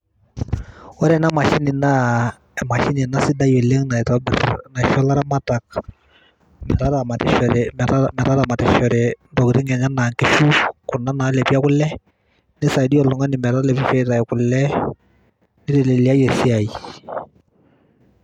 ore ena mashini naa sidai oleng' naisho ilaramatak metaramitoshore intokitin enye, nisaidia oltung'ani metalepishore aitayu kule nitayu esiaai.